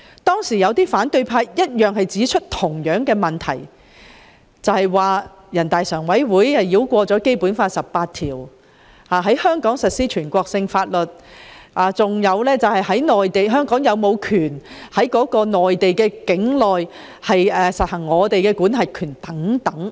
當時有反對派議員指出相同問題，認為全國人大常委會繞過《基本法》第十八條，在香港實施全國性法律，以及質疑香港人員是否有權在內地境內實行管轄權等。